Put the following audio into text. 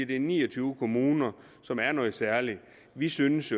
det er ni og tyve kommuner som er noget særligt vi synes